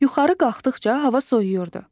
Yuxarı qalxdıqca hava soyuyurdu.